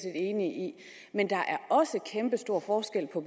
enig i men der er også en kæmpestor forskel på